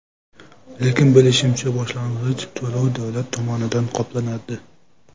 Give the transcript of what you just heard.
Lekin bilishimizcha, boshlang‘ich to‘lov davlat tomonidan qoplanadi.